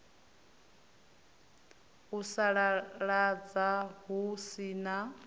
u sasaladza hu si na